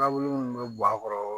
Nabolo min bɛ bɔ a kɔrɔ